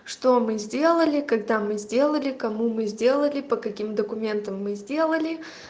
что мы сделали когда мы сделали кому мы сделали по каким документам мы сделали